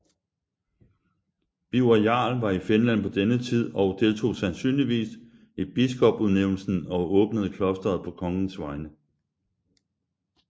Birger jarl var i Finland på denne tid og deltog sansynligvis i biskopudnævnelsen og åbnede klosteret på kongens vegne